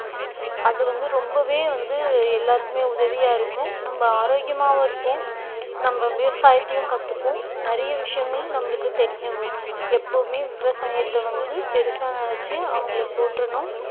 அது வந்து ரொம்பவே வந்து எல்லாருக்குமே உதவியா இருக்கும் நம்ம ஆரோக்கியமாவும் இருப்போம் நம்ம விவசாயத்தையும் கத்துப்போம் நிறைய விஷயங்கள் நம்மளுக்கு தெரிய வரும் எப்பவுமே விவசாயத்தை வந்து பெருசா நினைச்சு அவங்களை போற்றனும்